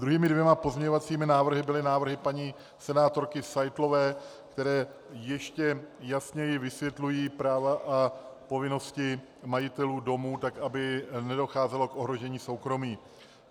Druhými dvěma pozměňovacími návrhy byly návrhy paní senátorky Seitlové, které ještě jasněji vysvětlují práva a povinnosti majitelů domů, tak aby nedocházelo k ohrožení soukromí.